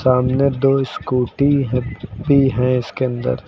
सामने दो स्कूटी भी हैं इसके अंदर।